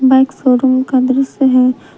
Bike showroom का दृश्य है।